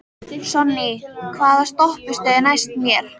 Sonný, hvaða stoppistöð er næst mér?